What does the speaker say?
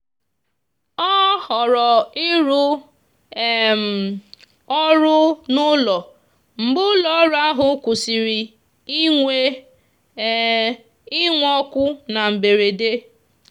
ọ họọrọ ịrụ um ọrụ n'ụlọ mgbe ụlọọrụ ahụ kwụsịrị inwe inwe ọkụ na mberede.